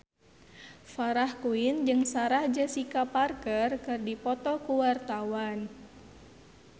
Farah Quinn jeung Sarah Jessica Parker keur dipoto ku wartawan